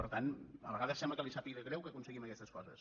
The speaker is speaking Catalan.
per tant a vegades sembla que li sàpiga greu que aconseguim aquestes coses